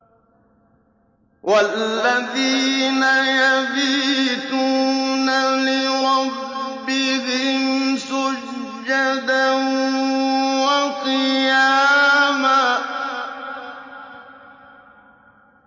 وَالَّذِينَ يَبِيتُونَ لِرَبِّهِمْ سُجَّدًا وَقِيَامًا